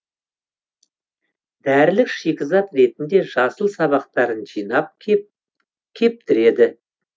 дәрілік шикізат ретінде жасыл сабақтарын жинап кептіреді